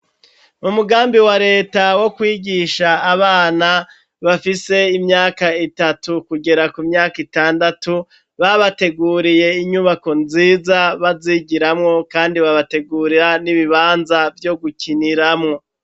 Mu mugambi wa leta wo kwigisha Abana, bafise imyaka Itatu kugera ku myaka Itandatu, babateguriye inyubako nziza bazigiramwo, kandi babategurira n'ibibanza vyo gukiniramwo.